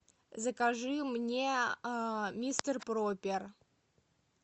закажи мне мистер пропер